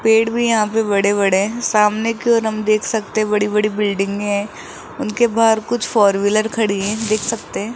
पेड़ भी यहां पे बड़े बड़े सामने की और हम देख सकते बड़ी-बड़ी बिल्डिंगें हैं उनके बाहर कुछ फोर व्हीलर खड़ी हैं देख सकते हैं।